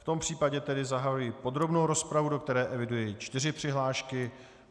V tom případě tedy zahajuji podrobnou rozpravu, do které eviduji čtyři přihlášky.